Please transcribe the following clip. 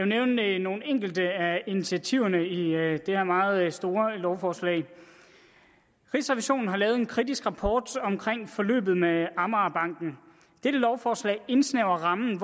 nævne nogle enkelte af initiativerne i det her meget store lovforslag rigsrevisionen har lavet en kritisk rapport om forløbet med amagerbanken dette lovforslag indsnævrer rammen